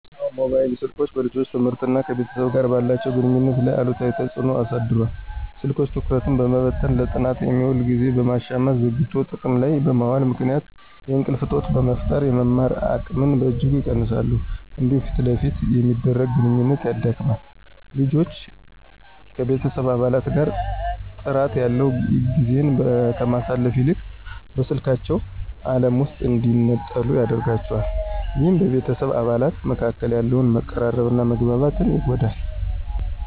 አዎ፣ ሞባይል ስልኮች በልጆች ትምህርትና ከቤተሰብ ጋር ባላቸው ግንኙነት ላይ አሉታዊ ተጽዕኖ አሳድረዋል። ስልኮች ትኩረትን በመበተን፣ ለጥናት የሚውልን ጊዜ በመሻማትና ዘግይቶ ጥቅም ላይ በመዋሉ ምክንያት የእንቅልፍ እጦት በመፍጠር የመማር አቅምን በእጅጉ ይቀንሳሉ። እንዲሁም ፊት ለፊት የሚደረግን ግንኙነት ያዳክማል። ልጆች ከቤተሰብ አባላት ጋር ጥራት ያለው ጊዜን ከማሳለፍ ይልቅ በስልካቸው ዓለም ውስጥ እንዲነጠሉ ያደርጋቸዋል። ይህም በቤተሰብ አባላት መካከል ያለውን መቀራረብና መግባባት ይጎዳል።